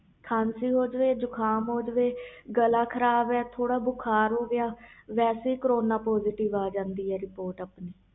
ਖਾਂਸੀ ਹੋ ਜੇ ਜੁਕਮ ਹੋ ਗਿਆ ਗਲਾ ਖਰਾਬ ਥੋੜ੍ਹਾ ਬੁਖ਼ਾਰ ਹੋ ਗਿਆ ਵਾਸੇ ਹੀ ਕਰੋਨਾ ਪੌਜ਼ਟਿਵ ਆ ਜਾਂਦਾ